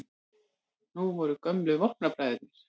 Nú voru gömlu vopnabræðurnir